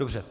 Dobře.